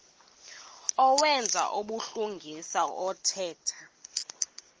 owenza ubulungisa othetha